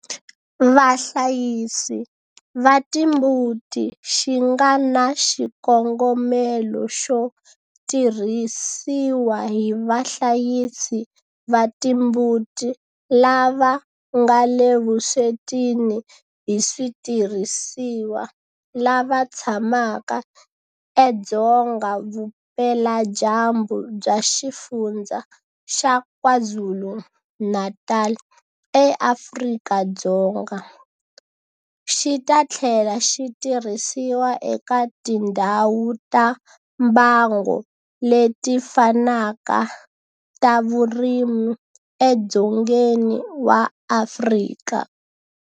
Vahlayisi va timbuti xi nga na xikongomelo xo tirhisiwa hi vahlayisi va timbuti lava nga le vuswetini hi switirhisiwa lava tshamaka edzonga vupeladyambu bya Xifundzha xa KwaZulu-Natal eAfrika-Dzonga, xi ta tlhela xi tirhisiwa eka tindhawu ta mbango leti fanaka ta vurimi edzongeni wa Afrika.